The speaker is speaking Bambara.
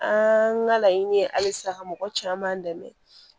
An ka laɲini ye halisa ka mɔgɔ caman dɛmɛ